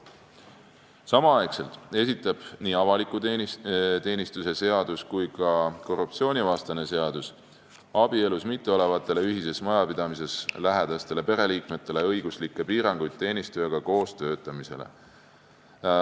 Samal ajal esitleb nii avaliku teenistuse seadus kui ka korruptsioonivastane seadus abielus mitteolevatele ühise majapidamisega lähedastele pereliikmetele õiguslikke piiranguid teenistujaga koos töötamisele.